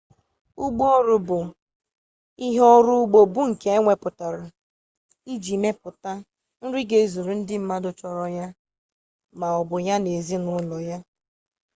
ugbo oru bu ihe oru ugbo bu nke eweputara iji meputa nri ga ezuru ndi mmadu choro ya ma obu ya na ulo ya